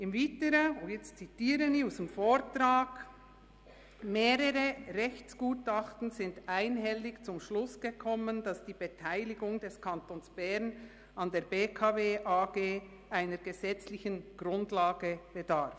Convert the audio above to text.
Wie Sie dem Vortrag entnehmen können, sind zudem mehrere Rechtsgutachten «einhellig zum Schluss gekommen, dass die Beteiligung des Kantons Bern an der BKW AG einer gesetzlichen Grundlage bedarf.